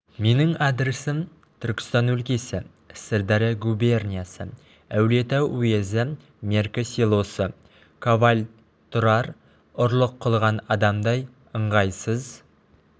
менің адресім түркістан өлкесі сырдария губерниясы әулие-ата уезі мерке селосы коваль тұрар ұрлық қылған адамдай ыңғайсыз